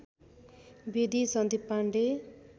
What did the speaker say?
Bedi Sandeep Pandey